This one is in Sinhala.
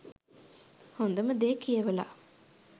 හොඳම දේ කියවල